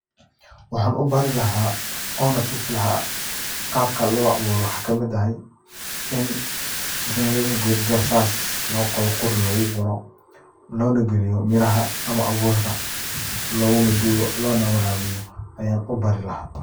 Waxan u bari laha oo na tusi laha qaabka loo abuuro waxaa kamid ahay in mel godya sas loo qodo qori ogu xiro logu loona galiyo miraha ama abuurka looguna duuga loona warabiyo ayan u bari laha.